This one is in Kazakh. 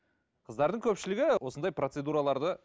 қыздардың көпшілігі осындай процедураларды